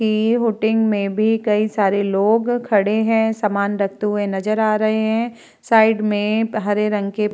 इ हूटिंग में भी कई सारे लोग खड़े है सामान रखते हुए नजर आ रहे है साइड में हरे रंग के --